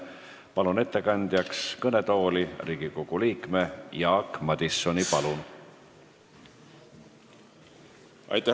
Palun ettekandeks kõnetooli Riigikogu liikme Jaak Madisoni!